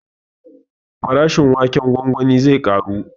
Farashin waken gwangwani zai ƙaru